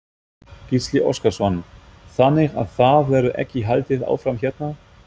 Gísli Óskarsson: Þannig að það verður ekki haldið áfram hérna?